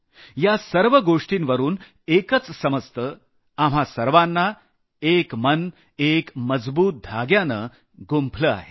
या सर्व गोष्टींवरून एकच समजतं आपल्या सर्वांना एक मन एका मजबूत धाग्यानं गुंफलं आहे